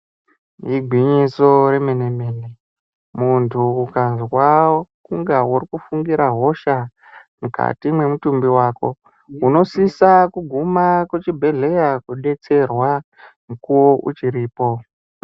Igwinyiso remene mene munhu akazwa inge urikufungira hosha mukati mwemutumbi wako unosisa kuguma kuchibhelera kodetserwa mukuwo uchiripo.